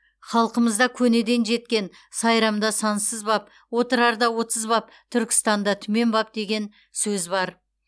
халқымызда көнеден жеткен сайрамда сансыз баб отырарда отыз баб түркістанда түмен баб деген сөз бар